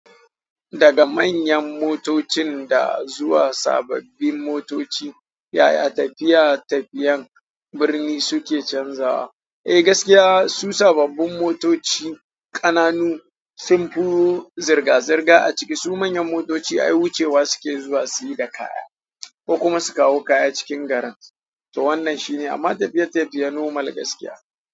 Daga manyan motoci da zuwa ga sababbin motoci yaya tafiya daga birni suke canzawa? Eh gaskiya su sababbin motoci ƙananu sun fi zirga-zirga a cikin su manyan motoci ai wucewa suke zuwa suyi da kaya ko kuma su kawo kaya cikin garin. To wannan shine amma tafiye-tafiya normal gaskiya.